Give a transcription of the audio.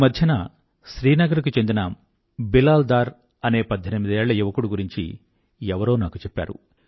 ఈమధ్యన శ్రీనగర్ కు చెందిన బిలాల్ డార్ అనే పధ్ధెనిమిదేళ్ల యువకుడు గురించి ఎవరో నాకు చెప్పారు